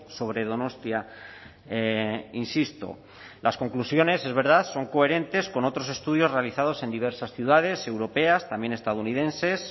sobre donostia insisto las conclusiones es verdad son coherentes con otros estudios realizados en diversas ciudades europeas también estadounidenses